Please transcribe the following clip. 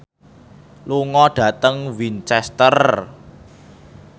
lunga dhateng Winchester